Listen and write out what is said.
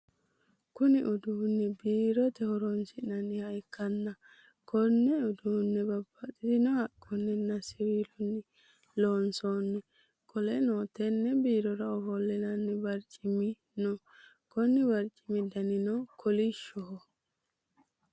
Kunni uduunni biirote horoonsi'nanniha ikanna konne uduune babbaxino haqunninna siwiilunni loonsanni. Qoleno tenne biirora ofolinnanni barcimino no. Konni barcimi danni kolishoho.